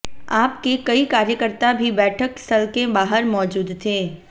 आप के कई कार्यकर्ता भी बैठक स्थल के बाहर मौजूद थे